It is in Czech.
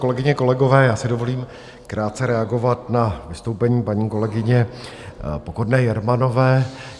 Kolegyně, kolegové, já si dovolím krátce reagovat na vystoupení paní kolegyně Pokorné Jermanové.